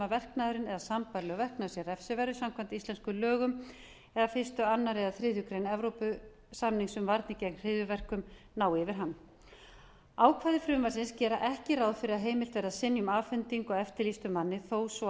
verknaðurinn eða sambærilegur verknaður sé refsiverður samkvæmt íslenskum lögum eða fyrstu annarri eða þriðju grein evrópusamnings um varnir gegn hryðjuverkum nái yfir hann ákvæði frumvarpsins gera ekki ráð fyrir að heimilt verði að synja um afhendingu á eftirlýstum manni þó